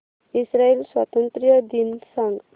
Israel स्वातंत्र्य दिन सांग